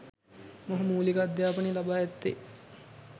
මොහු මූලික අධ්‍යාපනය ලබා ඇත්තේ